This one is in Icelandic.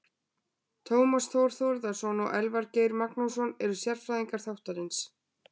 Tómas Þór Þórðarson og Elvar Geir Magnússon eru sérfræðingar þáttarins.